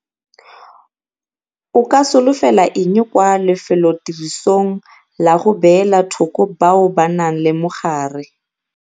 O ka solofela eng kwa lefelotirisong la go beela thoko bao ba nang le mogare?